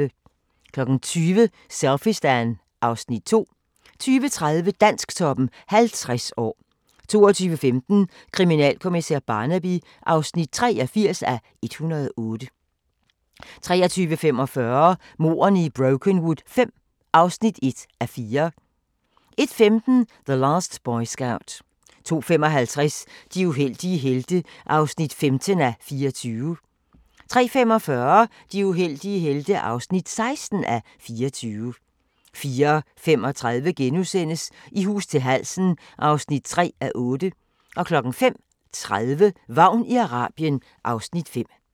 20:00: Selfiestan (Afs. 2) 20:30: Dansktoppen 50 år 22:15: Kriminalkommissær Barnaby (83:108) 23:45: Mordene i Brokenwood V (1:4) 01:15: The Last Boy Scout 02:55: De uheldige helte (15:24) 03:45: De uheldige helte (16:24) 04:35: I hus til halsen (3:8)* 05:30: Vagn i Arabien (Afs. 5)